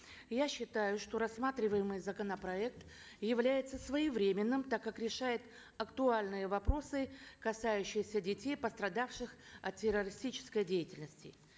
я считаю что рассматриваемый законопроект является своевременным так как решает актуальные вопросы касающиеся детей пострадавших от террористической деятельности